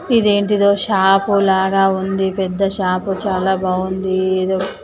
ఇదేంటిదో shop లాగా ఉంది పెద్ద షాపు చాలా బాగుంది ఏదో.